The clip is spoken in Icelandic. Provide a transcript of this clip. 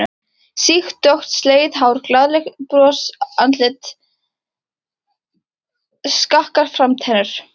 Sítt dökkt slegið hár, glaðlegt brosandi andlit, skakkar framtennur.